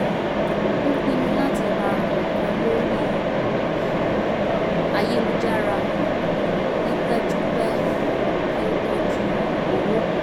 ó pinnu láti ra nǹkan lórí ayélujára ní pẹ́júpẹ́ kí ó tọ́jú owó